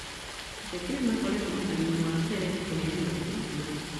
Ateti nĩmakoretwo mũharinĩ wa mbere kũheyana ũteithio